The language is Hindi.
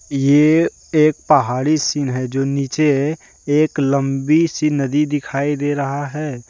ये एक पहाड़ी सीन है जो नीचे है एक लंबी सी नदी दिखाई दे रहा है।